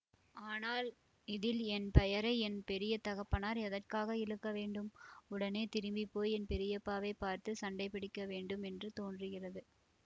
ஆனால் இதில் என் பெயரை என் பெரிய தகப்பனார் எதற்காக இழுக்க வேண்டும் உடனே திரும்பிப்போய் என் பெரியப்பாவைப் பார்த்து சண்டை பிடிக்கவேண்டும் என்று தோன்றுகிறது